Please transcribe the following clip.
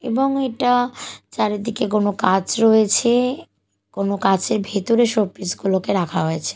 এবং এটা চারিদিকে কোনো কাঁচ রয়েছে কোনো কাঁচের ভেতরে শোপিস -গুলোকে রাখা হয়েছে।